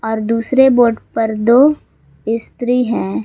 और दूसरे बोट पर दो स्त्री हैं।